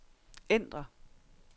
ændr